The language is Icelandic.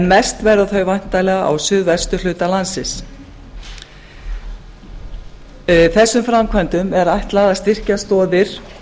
mest verða þau væntanlega á suðvesturhluta landsins þessum framkvæmdum er ætlað að styrkja stoðir